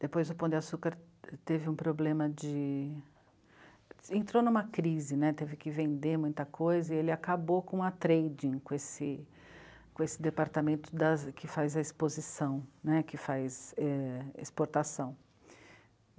Depois o Pão de Açúcar teve um problema de... entrou numa crise, né, teve que vender muita coisa e ele acabou com a Trading, com esse... com esse departamento das, que faz a exposição, né, que faz é... exportação.